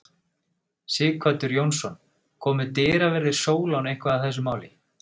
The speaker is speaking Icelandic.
Sighvatur Jónsson: Komu dyraverðir Sólon eitthvað að þessu máli?